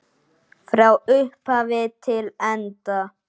Frá upphafi til enda.